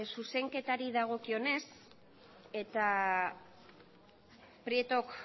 zuzenketari dagokionez eta prietok